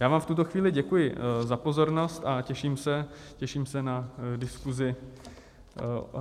Já vám v tuto chvíli děkuji za pozornost a těším se na diskuzi.